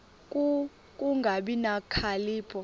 ku kungabi nokhalipho